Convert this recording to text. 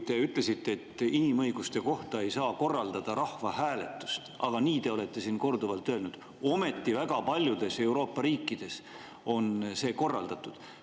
Te ütlesite, et inimõiguste kohta ei saa korraldada rahvahääletust – nii te olete siin korduvalt öelnud –, ometi väga paljudes Euroopa riikides on seda korraldatud.